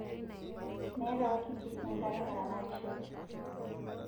Meeta wakimbisi enkare naramatishore